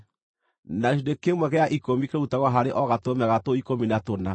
na gĩcunjĩ kĩmwe gĩa ikũmi kĩrutagwo harĩ o gatũrũme ga tũu ikũmi na tũna.